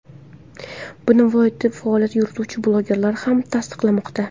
Buni viloyatda faoliyat yurituvchi blogerlar ham tasdiqlamoqda.